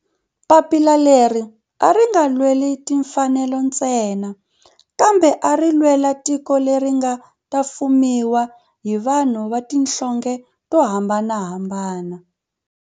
Papila leri a ri nga lweli timfanelo ntsena kambe ari lwela tiko leri nga ta fumiwa hi vanhu va tihlonge to hambanahambana.